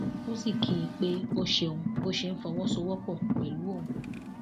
ó sì kí i pé ó ṣeun bó ṣe ń fọwọsowọpọ pẹlú òun